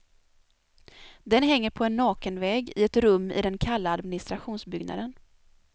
Den hänger på en naken vägg i ett rum i den kalla administrationsbyggnaden.